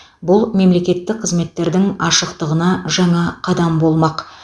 бұл мемлекеттік қызметтердің ашықтығына жаңа қадам болмақ